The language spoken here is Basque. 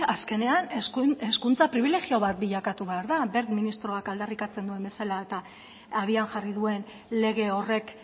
azkenean hezkuntza pribilegio bat bilakatu behar da wert ministroak aldarrikatzen duen bezala eta abian jarri duen lege horrek